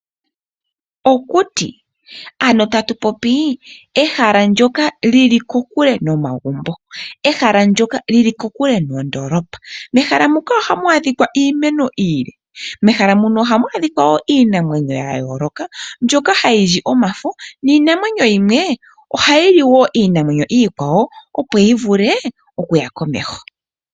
Okuti ano tatu popi ehala lyoka Lili kokule nomagumbo, ehala lyoka lyili kokule noondoolopa, mehala mukaohamu a dhika iimeno iile, mehala muka ohamu a dhika woo iinamwenyo yayooloka mbyoka hayi li omafo, niinamwenyo yimwe ohayi li woo iinamwenyo iikwawo opo yi vule okuya komeho.